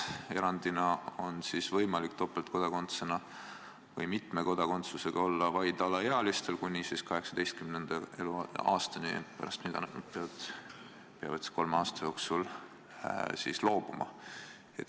Erandina on võimalik topeltkodakondsusega või mitme kodakondsusega olla vaid alaealistel kuni 18. eluaastani, pärast mida nad peavad kolme aasta jooksul valiku tegema.